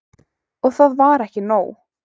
Og það var ekki nóg.